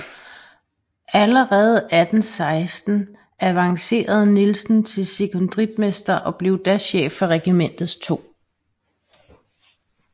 Allerede 1816 avancerede Nielsen til sekondritmester og blev da chef for regimentets 2